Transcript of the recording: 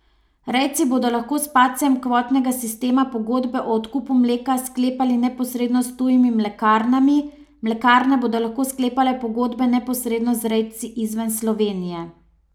Rejci bodo lahko s padcem kvotnega sistema pogodbe o odkupu mleka sklepali neposredno s tujimi mlekarnami, mlekarne bodo lahko sklepale pogodbe neposredno z rejci izven Slovenije.